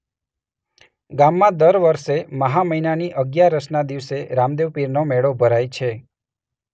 ગામમાં દર વર્ષે મહા મહિનાની અગિયારસના દિવસે રામદેવપીરનો મેળો ભરાય છે.